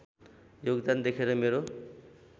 योगदान देखेर मेरो